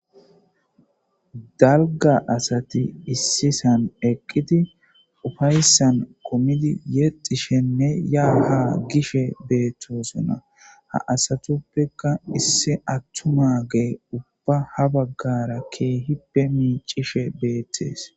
dalga asati issisan eqqidi ufayssan qomidi yexishenne yaaha gishe beettosona ha asatuppeka issi attu ma gee ubba ha baggara keehippe miicishe beettees